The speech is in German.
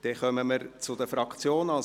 Wir kommen zu den Fraktionen.